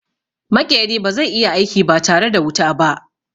Maƙeri ba zai iya aiki ba tare da wuta ba.